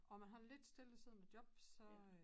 Og man har en lidt stillesiddende job så øh